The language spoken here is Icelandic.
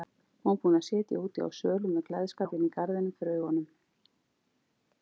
Hún var búin að sitja úti á svölum með gleðskapinn í garðinum fyrir augunum.